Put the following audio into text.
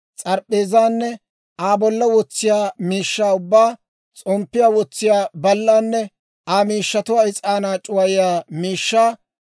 s'arp'p'eezaanne Aa bolla wotsiyaa miishshaa ubbaa, s'omppiyaa wotsiyaa ballanne Aa miishshatuwaa, is'aanaa c'uwayiyaa miishshaa,